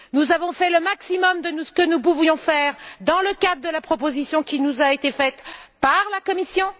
Nous avons fait le maximum de ce que nous pouvions faire dans le cadre de la proposition qui nous a été faite par la Commission.